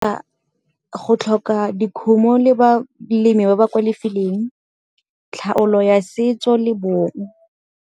go tlhoka dikgomo le balemi ba ba kwa lefeleng, tlhaolo ya setso le bong.